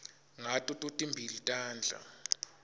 ngato totimbili tandla